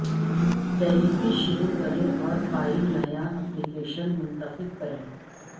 Delphi شروع کریں اور فائل نیا ایپلیکیشن منتخب کریں